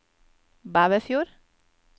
Bæverfjord